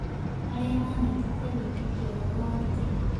Arĩa maanyitĩte wĩtĩkio wao wa tene